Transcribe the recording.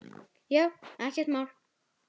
Já, ekkert mál.